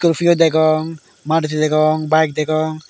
urpio degong maruti degong baek degong.